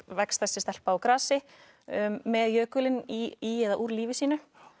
vex þessi stelpa úr grasi með jökulinn í eða úr lífi sínu